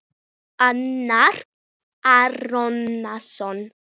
Arnar Árnason